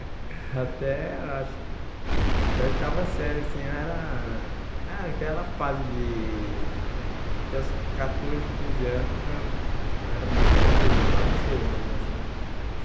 Até, eu acho, até oitava série, assim, eu era ah aquela fase de, até os catorze, quinze ano, eu era muito bagunceiro mesmo, assim.